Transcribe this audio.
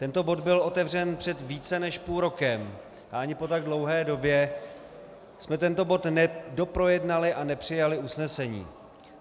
Tento bod byl otevřen před více než půl rokem a ani po tak dlouhé době jsme tento bod nedoprojednali a nepřijali usnesení.